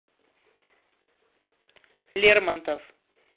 лермонтов